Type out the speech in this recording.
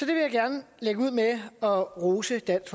vil jeg gerne lægge ud med at rose dansk